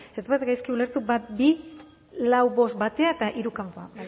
ez badut gaizki ulertu bat bi lau bost batera eta hiru kanpora